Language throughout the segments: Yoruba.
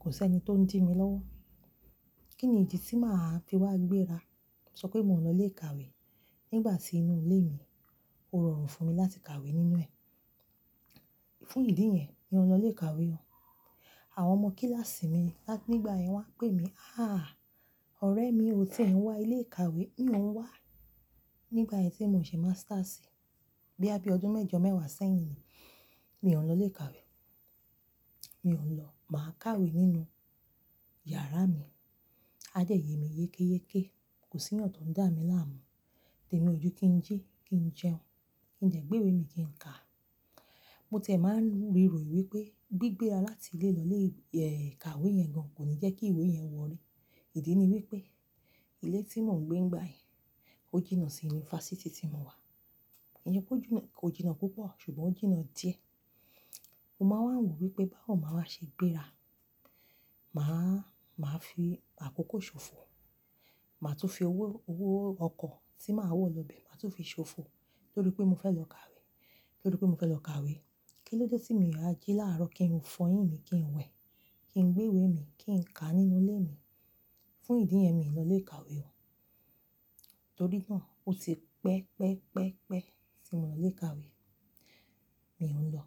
kò sí ẹni tó ń dì mi lọ́wọ́. Kí ni ìdí tí màá fi wá gbéra? Sọ pé mò ń lọ ilé ìkàwé nígbà tí inú ilé mi ò rọrùn fún mi láti kàwé nínú ẹ̀. Fún ìdí yẹn, mi o n lọ ilé ìkàwé o. Àwọn ọmọ kíláàsì mi lá-- nígbà yẹn wá ń pè mí, "àh! Ọ̀rẹ́ mi ò tí ì ń wá ilé ìkàwé." Mi ò ń wá. Nígbà yẹn tí mò ń ṣe masters, boya bii ọdún mẹ́jọ mẹ́wàá sẹ́yìn ni, mi ò ń lọ ilé ìkàwé. Mi ò ń lọ. Màá kàwé nínú yàrá mi. A dé yè mí yékéyéké. Kò sí eeyan tó ń dà mí láàmú. Tèmi ojú kí ń jí, kí ń jẹun, kí ń jẹ gbéwe mi kí ń kà. Mo ti e máa ń riro wipé, gbigbéra láti ilé lọ ilé, eh, ìkàwé yẹn gan kò ní jẹ́ kí ìwé yẹn wọrí. Ìdí ni wípé ilé tí mò ń gbé nígbà yẹn ó jìnnà sí yunifásítì tí mo wà. Ǹjẹ́ kò jìnnà, kò jìnnà púpọ̀, ṣùgbọ́n ó jìnnà díẹ̀. Mo máa n wò wípé báwo ni màá wa ṣe gbéra. Màá, màá fi àkókò ṣòfò. Màá tún fi owó, owó ọkọ̀ tí màá wọ̀ lọ bẹ màá tún fi ṣòfò torí pé mo fẹ́ lọ kàwé, torí pé mo fẹ́ lọ kàwé. Kí ló de tí mi o wa jí láàárọ̀ kí ń fọyín mi, kí ń wẹ̀, kí ń gbéwe mi, kí ń kà nínú ilé mi. Fún ìdí yẹn mii lọ ilé ìkàwé o. Torí náà ó ti pẹ́ pẹ́ pẹ́ pẹ́ tí mo lọ ilé ìkàwé. Mi ò ń lọ.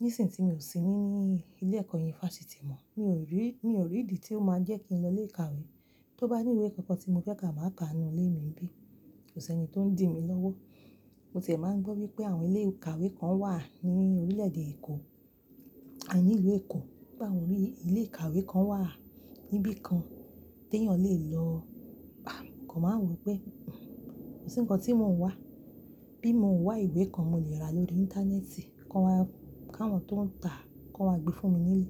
Nísìń tí mi ò sí níi ní ilé ẹ̀kọ́ yunifásítì mọ, mi ò rí, mi ò rí ìdí tí ó máa jẹ́ kí n lọ ilé ìkàwé. Tó bá ní ìwé kankan tí mo fẹ́ kà màá kà á nínú ilé mi nibií. Kò sí ẹni tó ń dì mi lọ́wọ́. Mo ti ẹ́ máa ń gbọ́ wípé àwọn ilé ìkàwé kan wà ní orílẹ̀èdè Èkó, à ní ìlú Èkó. Pe awon ilé ìkàwé kan wà níbí kan tí eeyàn lè lọ. Ah! Mo kan máa ń wò wípé, kò sí nǹkan tí mò ń wá. Bí mo ń wá ìwé kan, mo lè ra lóri íńtánẹ́ẹ̀tì. Kan, káwọn tó ń tà ki won wá gbé fún mi nílé.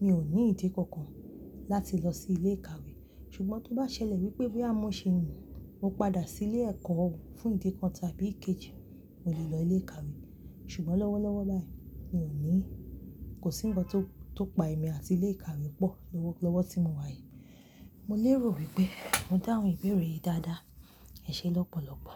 Mi ò ní ìdí kankan láti lọ sí ilé ìkàwé. Ṣùgbọ́n tó bá ṣẹlẹ̀ wípé boya mo ṣii mo padà sí ilé ẹ̀kọ́ oo fún ìdí kan tàbí èkejì, mo lè lọ ilé ìkàwé. Ṣùgbọ́n lọ́wọ́ lọ́wọ́ báyìí mi ò ní-- kò sí nǹkan tó, tó pa èmi àti ilé ìkàwé pọ̀ lọ́wọ́, lọ́wọ́ tí mo wà yìí. Mo lè rò wípé mo dáhun ìbéèrè yìí dáadáa. Ẹ ṣé lọ́pọ̀lọ́pọ̀.